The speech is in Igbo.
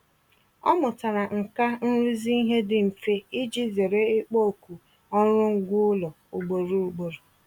Ọ mụtara nkà nrụzi ihe dị mfe iji zere ịkpọ oku ọrụ ngwa ụlọ ugboro ugboro.